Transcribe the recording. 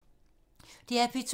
DR P2